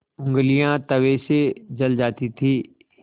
ऊँगलियाँ तवे से जल जाती थीं